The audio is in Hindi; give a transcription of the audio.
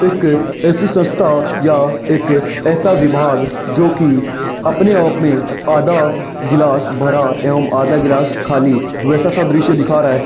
एक ऐसी संस्था या एक ऐसा विभाग जो कि अपने आप में आधा गिलास भरा एवम आधा गिलास खाली वैसा सब दृश्य दिखा रहा है।